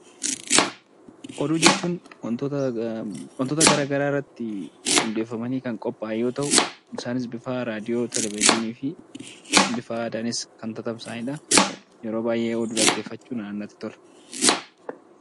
Oduu jechuun wantoota garaagaraa irratti hundeeffamanii kan qophaaye yoo ta'u, isaanis bifa raadiyoo, televezyiinii fi bifa aadaanis kan tatamsa'anidha. Yeroo baay'ee oduu dhaggeeffachuun anaan natti tola.